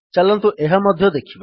ଚାଲନ୍ତୁ ଏହା ମଧ୍ୟ ଦେଖିବା